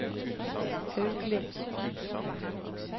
Haugli